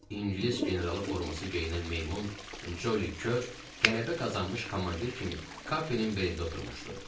İngilis generalı forması geyinən meymun Joli Kür qələbə qazanmış komandir kimi Kapinin belində oturmuşdu.